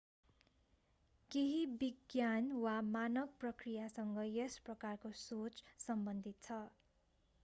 केहि विज्ञान वा मानक प्रक्रियासँग यस प्रकारको सोच सम्बन्धित छ